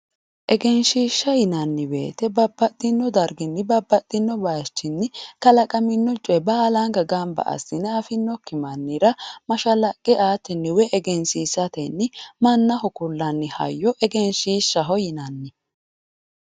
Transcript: egenshiishsha yinanni woyiite babbaxinno darginni babbaxinno bayiichinni kalaqamino coye baalanka gamba assine afinnokki mannira mashalaqe aatenni woyi egensiisatenni mannaho kullanni hayyo egenshiishshaho yinanni.